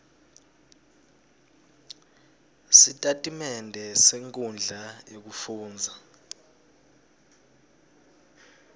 sitatimende senkhundla yekufundza